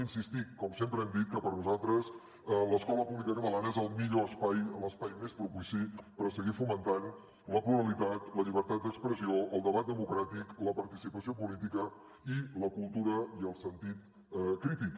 insistir com sempre hem dit que per nosaltres l’escola pública catalana és el millor espai l’espai més propici per a seguir fomentant la pluralitat la llibertat d’expressió el debat democràtic la participació política i la cultura i el sentit crític